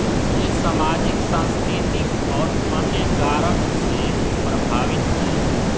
ये समाजिक सांस्कृतिक और अन्य कारक से प्रभावित हैं